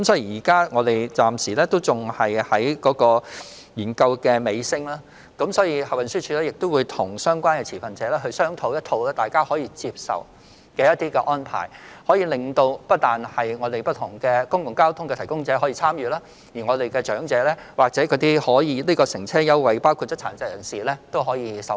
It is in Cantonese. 現在已是研究的尾聲，運輸署會與相關持份者商討並作出大家可以接受的安排，不但讓不同的公共交通服務提供者可以參與，長者或有關乘車優惠計劃已涵蓋的殘疾人士也可以受惠。